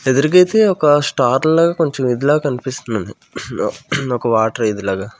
ఎదురుగైతే ఒక స్టార్ లాగా కొంచెం ఇది లాగ కనిపిస్తుంది ఒక వాటర్ ఇది లాగ--